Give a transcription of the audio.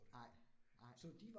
Nej, nej